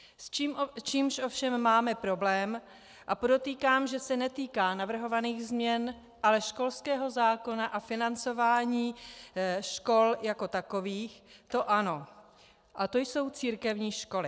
S čím ovšem máme problém, a podotýkám, že se netýká navrhovaných změn, ale školského zákona a financování škol jako takových, to ano, a to jsou církevní školy.